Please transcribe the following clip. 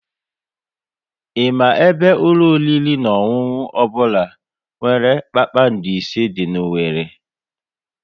Ị ma ebe ụlọ oriri na ọṅụṅụ ọbụla nwere kpakpando ise dị n'Owerri?